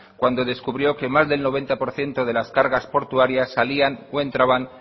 cuando descubrió que más del noventa por ciento de las cargas portuarias salían o entraban